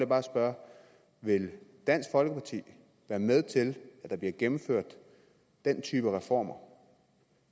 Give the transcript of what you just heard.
bare spørge vil dansk folkeparti være med til at gennemføre den type reformer